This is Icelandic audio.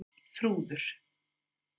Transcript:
Þrúður